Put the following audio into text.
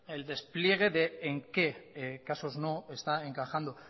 el despliegue de en qué casos no está encajando